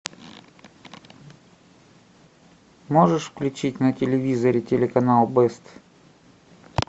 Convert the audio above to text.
можешь включить на телевизоре телеканал бест